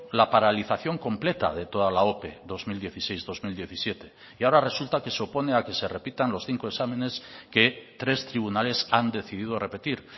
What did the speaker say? la paralización completa de toda la ope dos mil dieciséis dos mil diecisiete y ahora resulta que se opone a que se repitan los cinco exámenes que tres tribunales han decidido repetir